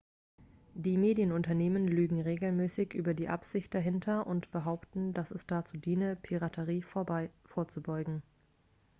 "die medienunternehmen lügen regelmäßig über die absicht dahinter und behaupten dass es dazu diene "piraterie vorzubeugen"".